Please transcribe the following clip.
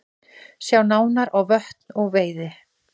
Sjá nánar á Vötn og veiði